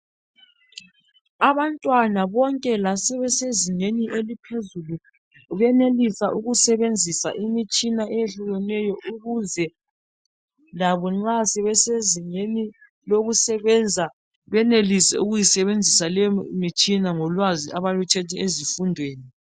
Abantwana bonke lasebesezingeni eliphezulu, benelisa ukusebenzisa imitshina eyehlukeneyo ukuze labo nxa sebesezingeni lokusebenza benelise ukuyisebenzisa leyo mitshina ngolwazi abaluthethe ezifundweni.